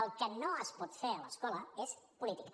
el que no es pot fer a l’escola és política